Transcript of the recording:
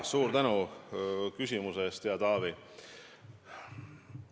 Suur tänu küsimuse eest, hea Taavi!